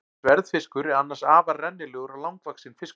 Sverðfiskur er annars afar rennilegur og langvaxinn fiskur.